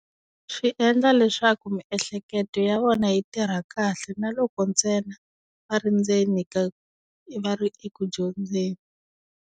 Swi endla leswaku miehleketo ya vona yi tirha kahle na loko ntsena va ri endzeni ka, va ri eku dyondzeni.